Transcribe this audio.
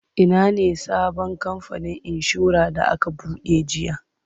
Ina ne sabon kamfanin inshorar da aka buɗe jiya?